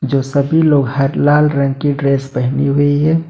जो सभी लोग हैं लाल रंग की ड्रेस पहनी हुई है।